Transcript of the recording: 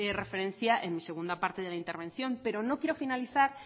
referencia en mi segunda parte de la intervención pero no quiero finalizar